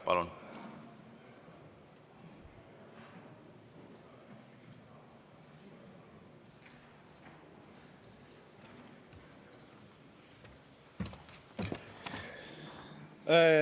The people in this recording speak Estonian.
Palun!